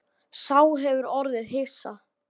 Sá hefur orðið hissa